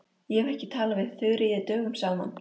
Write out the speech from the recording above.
Ég hef ekki talað við Þuríði dögum saman.